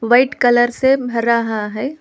White colour से भर रहा है।